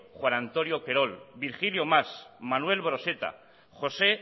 juan antonio querol virgilio mas manuel broseta josé